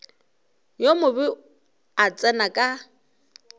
yo mobe a tsena ka